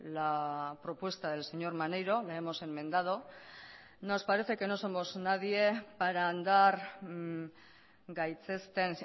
la propuesta del señor maneiro la hemos enmendado nos parece que no somos nadie para andar gaitzesten